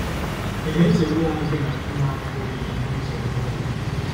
Ị na-echegbu onwe gị maka inwe afọ ojuju n'ụzọ ihe onwunwe?